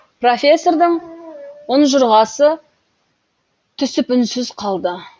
профессордің ұнжырғасы түсіп үнсіз қалды